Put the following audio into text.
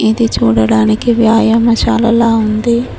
ఇది చూడడానికి వ్యాయామషాల లా ఉంది.